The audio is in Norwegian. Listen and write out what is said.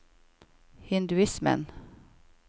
hinduismen